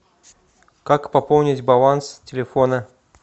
как пополнить баланс телефона